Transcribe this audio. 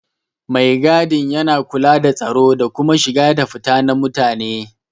Mai gadi yana kula da tsaro da kuma shiga da fita na mutane.